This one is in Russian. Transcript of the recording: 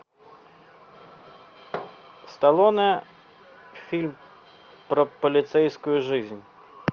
сталлоне фильм про полицейскую жизнь